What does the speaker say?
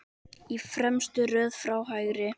Í fremstu röð frá hægri